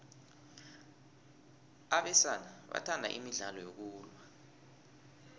abesana bathanda imidlalo yokulwa